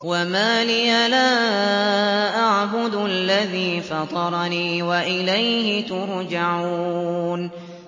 وَمَا لِيَ لَا أَعْبُدُ الَّذِي فَطَرَنِي وَإِلَيْهِ تُرْجَعُونَ